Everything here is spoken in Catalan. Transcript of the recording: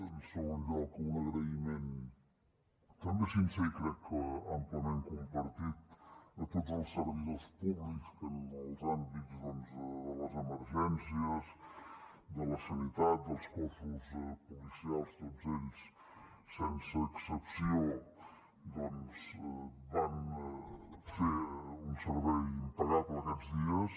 en un segon lloc amb un agraïment també sincer i crec que amplament compartit a tots els servidors públics que en els àmbits doncs de les emergències de la sanitat dels cossos policials tots ells sense excepció doncs van fer un servei impagable aquests dies